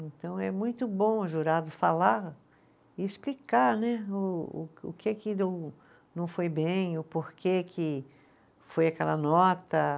Então, é muito bom o jurado falar e explicar né, o o que, o que que não foi bem, o porquê que foi aquela nota.